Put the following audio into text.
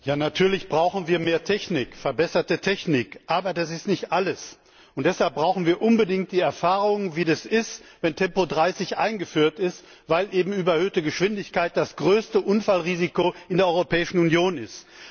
Herr Präsident! Ja, natürlich brauchen wir mehr und verbesserte Technik! Aber das ist nicht alles. Deshalb brauchen wir unbedingt die Erfahrung, wie das ist, wenn Tempo30 eingeführt ist, weil überhöhte Geschwindigkeit das größte Unfallrisiko in der Europäischen Union ist.